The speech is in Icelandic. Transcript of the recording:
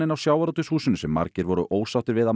á sjávarútvegshúsinu sem margir voru ósáttir við að